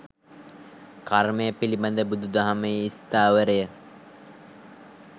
කර්මය පිළිබඳ බුදු දහමේ ස්ථාවරය